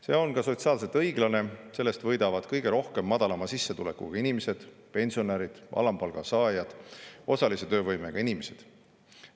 See on sotsiaalselt õiglane, sellest võidavad kõige rohkem madalama sissetulekuga inimesed, pensionärid, alampalga saajad, osalise töövõimega inimesed.